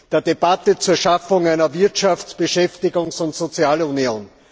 der Debatte zur Schaffung einer Wirtschafts Beschäftigungs und Sozialunion!